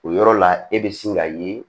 O yɔrɔ la e be sin ka ye